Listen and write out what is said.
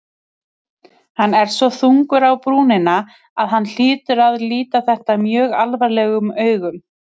Hann er svo þungur á brúnina að hann hlýtur að líta þetta mjög alvarlegum augum.